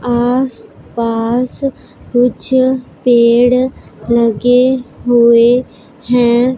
आस पास कुछ पेड़ लगे हुए हैं।